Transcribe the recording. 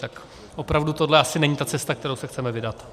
Tak opravdu tohle asi není ta cesta, kterou se chceme vydat.